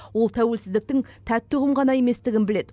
ол тәуелсіздіктің тәтті ұғым ғана еместігін біледі